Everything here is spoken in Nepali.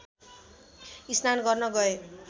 स्नान गर्न गए